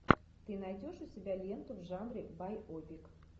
ты найдешь у себя ленту в жанре байопик